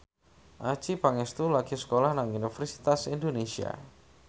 Adjie Pangestu lagi sekolah nang Universitas Indonesia